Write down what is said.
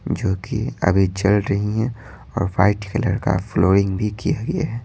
जो कि अभी चल रही हैं और वाइट कलर का फ्लोरिंग भी किया गया है।